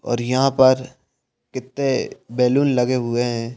और यहाँ पर कित्ते बैलून लगे हुए हैं।